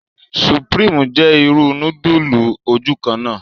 Supreme jẹ ìrù nudulu ojukanna